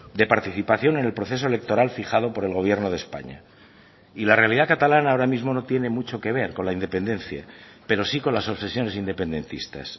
de participación en el proceso electoral fijado por el gobierno de españa y la realidad catalana ahora mismo no tiene mucho que ver con la independencia pero sí con las obsesiones independentistas